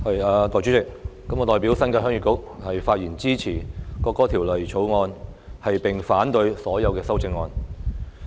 代理主席，我代表新界鄉議局發言支持《國歌條例草案》，並反對所有修正案。